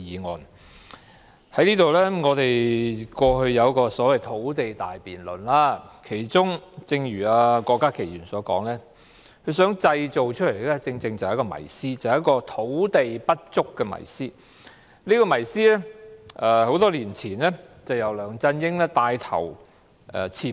我們過去曾就土地問題進行一項所謂的土地大辯論，而正如郭家麒議員所說，目的是想製造一個"土地不足"的迷思，而這個迷思多年前已被梁振英帶頭刺破。